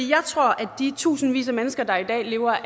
jeg tror at de tusindvis af mennesker der i dag lever